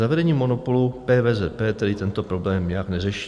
Zavedením monopolu PVZP tedy tento problém nijak neřeší.